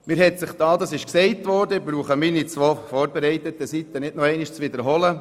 Es wurde bereits vieles gesagt und es ist nicht nötig, dass ich dies mit meinen zwei vorbereiteten Seiten wiederhole.